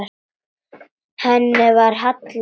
Henni var hallað að stöfum.